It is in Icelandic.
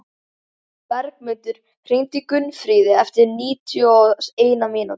Bergmundur, hringdu í Gunnfríði eftir níutíu og eina mínútur.